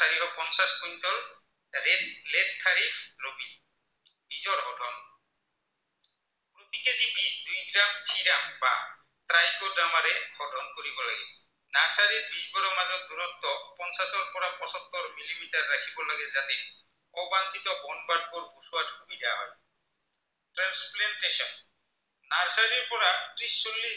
ত্ৰিছ চল্লিছ